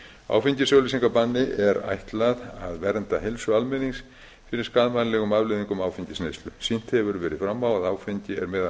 samningnum áfengisauglýsingabanni er ætlað að vernda heilsu almennings fyrir skaðvænlegum afleiðingum áfengisneyslu sýnt hefur verið fram á að áfengi er